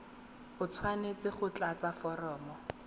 o tshwanetse go tlatsa foromo